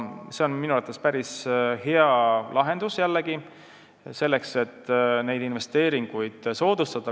See on minu arvates jällegi päris hea lahendus, mis investeeringuid soodustab.